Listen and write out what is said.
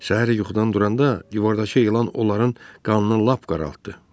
Səhər yuxudan duranda divardakı elan onların qanını lap qaraltdı.